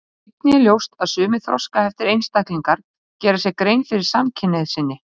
Einnig er ljóst að sumir þroskaheftir einstaklingar gera sér grein fyrir samkynhneigð sinni.